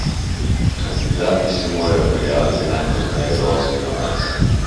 Kandidati se morajo prijaviti najpozneje do osmega marca.